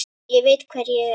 Ég veit hver ég er.